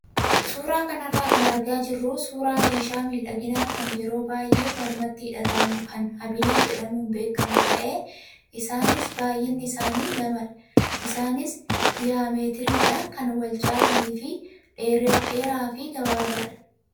Suuraa kanarraa kan argaa jirru suuraa meeshaa miidhaginaa kan yeroo baay'ee mormatti hidhatamu kan habilii jedhamuun beekamu ta'ee isaanis baay'inni isaanii lamadha. Isaanis diyaametiriidhaan kan wal caalanii fi dheeraa fi gabaabaadha.